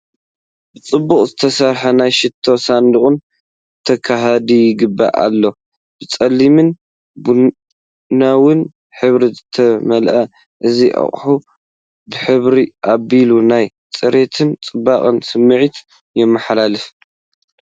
ብጽቡቕ ዝተሰርሐ ናይ ሽቶ ሳንዱቕ ተጋሂዱ ይገአ ኣሎ። ብጸሊምን ቡናውን ሕብሪ ዝተመልአ እዚ ኣቕሓ ብሕብሩ ኣቢሉ ናይ ጽሬትን ጽባቐን ስምዒት የመሓላልፍ።